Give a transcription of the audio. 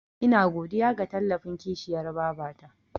Ina godiya ga tallafin kishiyar babata.